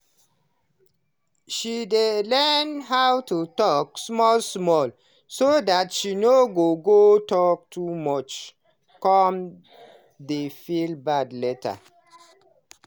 she dey learn how to talk small small so that she no go go talk too much come dey feel bad later